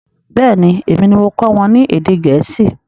Bẹẹni, èmi ni mo kọ́ wọn ní èdè Gẹ̀ẹ́sì